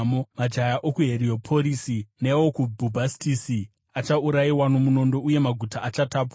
Majaya okuHerioporisi neokuBhubhastisi achaurayiwa nomunondo, uye maguta achatapwa.